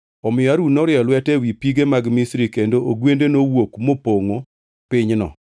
Omiyo Harun norieyo lwete ewi pige mag Misri, kendo ogwende nowuok mopongʼo pinyno.